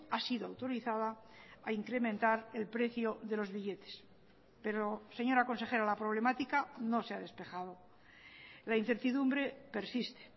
ha sido autorizada a incrementar el precio de los billetes pero señora consejera la problemática no se ha despejado la incertidumbre persiste